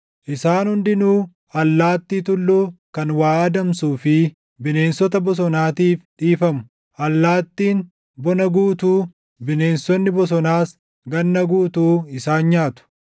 Isaan hundinuu allaattii tulluu kan waa adamsuu fi bineensota bosonaatiif dhiifamu; allaattiin bona guutuu, bineensonni bosonaas ganna guutuu isaan nyaatu.